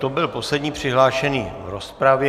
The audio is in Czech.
To byl poslední přihlášený v rozpravě.